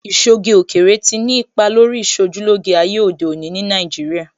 Ìṣoge òkèèrè tí ni ipa lórí Ìṣojúlóge ayé òde òní ní Nàìjíríà